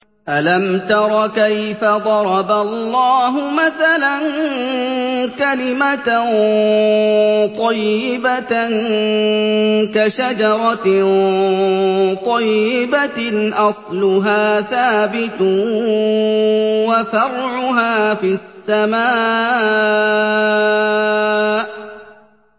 أَلَمْ تَرَ كَيْفَ ضَرَبَ اللَّهُ مَثَلًا كَلِمَةً طَيِّبَةً كَشَجَرَةٍ طَيِّبَةٍ أَصْلُهَا ثَابِتٌ وَفَرْعُهَا فِي السَّمَاءِ